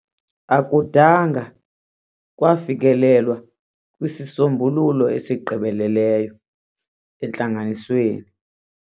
Akudanga kwafikelelwa kwisisombululo esigqibeleleyo entlanganisweni.